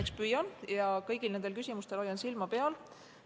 Eks ma püüan ja hoian kõigil nendel küsimustel silma peal.